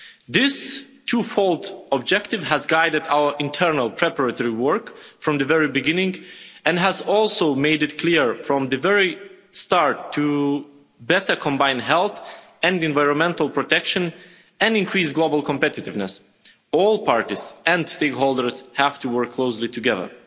This twofold objective has guided our internal preparatory work from the very beginning and has also made it clear from the very start that to better combine health and environmental protection, and increase global competitiveness, all parties and stakeholders have to work closely together.